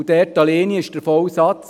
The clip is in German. Die Erstellung ist der eine Aspekt.